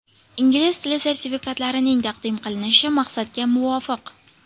Ingliz tili sertifikatlarining taqdim qilinishi maqsadga muvofiq .